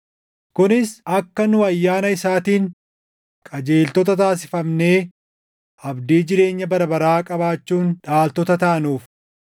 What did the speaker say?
kunis akka nu ayyaana isaatiin qajeeltota taasifamnee abdii jireenya bara baraa qabaachuun dhaaltota taanuuf.